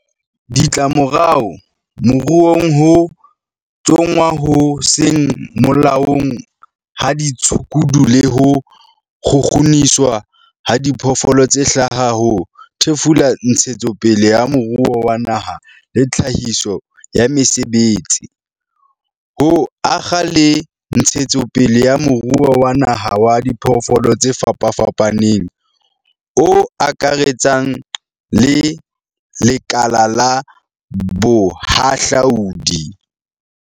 Ditlamorao moruong Ho tsongwa ho seng molaong ha ditshukudu le ho kgukguniswa ha diphoofolo tse hlaha ho thefula ntshetsopele ya moruo wa naha le tlhahiso ya mesebetsi, ho akga le ntshetsopele ya moruo wa naha wa diphoofolo tse fapafapaneng o akaretsang le lekala la bohahlaudi.